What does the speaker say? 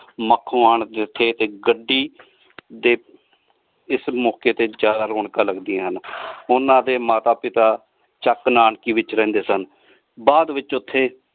ਮਾਖੋਵਾਂ ਦੇਥ੍ਯ ਤੇ ਗਦੀ ਤੇ ਇਸ ਮੌਕੇ ਤੇ ਜਿਯਾਦਾ ਰੌਣਕਾਂ ਲਗਦਿਆਂ ਨੇ ਓਨਾ ਦੇ ਮਾਤਾ ਪਿਤਾ ਚਕ ਨਾਨਕੀ ਵਿਚ ਰਹਿੰਦੇ ਸਨ ਬਾਦ ਵਿਚ ਓਥੇ।